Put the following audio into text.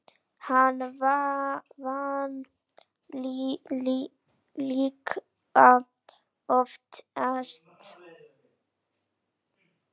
Hann vann líka oftast.